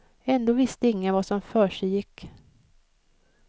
Ändå visste ingen vad som försiggick.